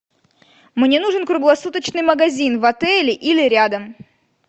мне нужен круглосуточный магазин в отеле или рядом